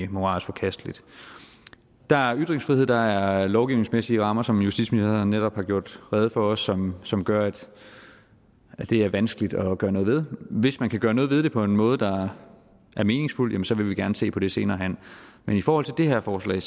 moralsk forkasteligt der er ytringsfrihed der er lovgivningsmæssige rammer som justitsministeren også netop har gjort rede for som som gør at det er vanskeligt at gøre noget ved men hvis man kan gøre noget ved det på en måde der er meningsfuld jamen så vil vi gerne se på det senere hen men i forhold til det her forslag